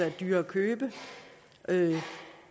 er dyre at købe